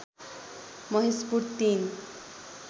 Maheshpur ३